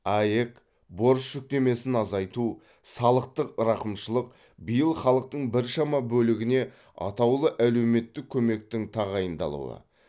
аәк борыш жүктемесін азайту салықтық рақымшылық биыл халықтың біршама бөлігіне атаулы әлеуметтік көмектің тағайындалуы